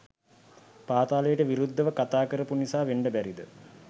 පාතාලයට විරුද්දව කතා කරපු නිසා වෙන්න බැරිද?